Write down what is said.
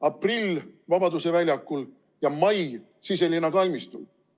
Aprill Vabaduse väljakul ja mai Siselinna kalmistul.